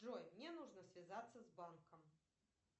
джой мне нужно связаться с банком